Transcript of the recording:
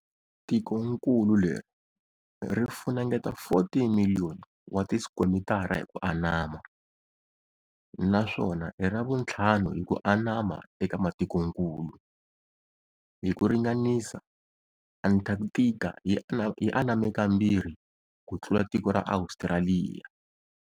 Tikonkulu leri ri funengeta 14,000,000 wati skwemitara hi ku anama, naswona i ravunthlanu hi kuanama eka matikonkulu. Hi ku ringanisa, Anthakthika yi aname kambirhi kutlula tiko ra Ostraliya.